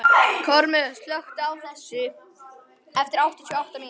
Kormlöð, slökktu á þessu eftir áttatíu og átta mínútur.